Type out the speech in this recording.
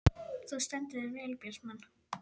Þú stendur þig vel, Bjartmann!